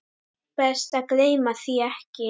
Best að gleyma því ekki.